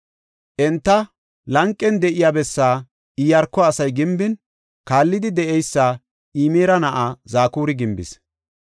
Enta lanqen de7iya bessaa Iyaarko asay gimbin, kaallidi de7eysa Imira na7ay Zakuri gimbis.